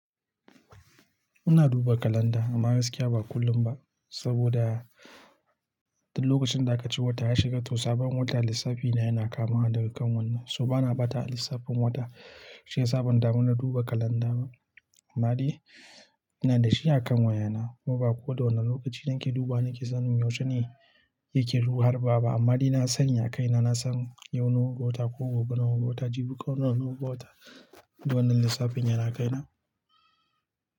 Ina duba kalanda amma gaskiya ba kullum ba. Saboda, duk lokacin da aka ce wata ya shiga, to sabon wata lissafi na yana kamawa daga kan wannan. To bana bata a lissafin wata, shiyasa ban damu na duba kalanda ba. Amma dai, ina da shi a kan wayana, kuma ba koda wane lokaci nake dubawa nake sanin yaushe ne yake harbawa ba. Amma dai na sani a kaina na san yau nawa ga wata, ko gobe nawa ga wata, jibi ko nawa nawa ga wata, domin lissafin yana kaina.